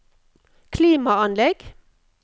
klimaanlegg